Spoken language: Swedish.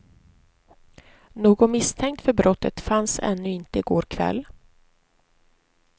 Någon misstänkt för brottet fanns ännu inte i går kväll.